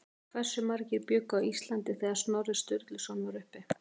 Hversu margir bjuggu á Íslandi þegar Snorri Sturluson var uppi?